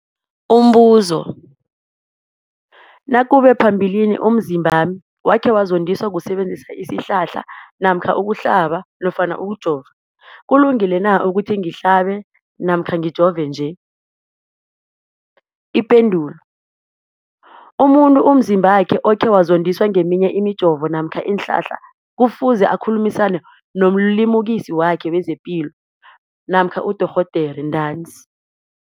Umbuzo, nakube phambilini umzimbami wakhe wazondiswa kusebenzisa isihlahla namkha ukuhlaba nofana ukujova, kulungile na ukuthi ngihlabe namkha ngijove nje? Ipendulo, umuntu umzimbakhe okhe wazondiswa ngeminye imijovo namkha iinhlahla kufuze akhulumisane nomlimukisi wakhe wezepilo namkha nodorhoderakhe ntanzi.